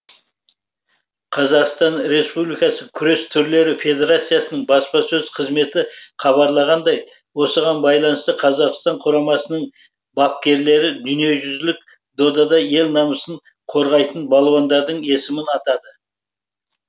қазақстан республикасы күрес түрлері федерациясының баспасөз қызметі хабарлағандай осыған байланысты қазақстан құрамасының бапкерлері дүниежүзілік додада ел намысын қорғайтын балуандардың есімін атады